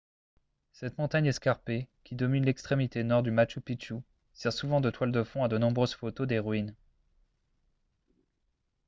cette montagne escarpée qui domine l'extrémité nord du machu picchu sert souvent de toile de fond à de nombreuses photos des ruines